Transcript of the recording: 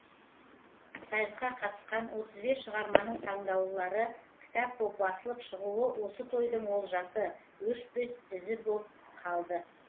сайысқа қатысқан отыз бес шығарманың таңдаулылары кітап боп басылып шығуы осы тойдың олжасы өшпес ізі боп қалды